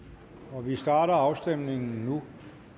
og vi starter afstemningen nu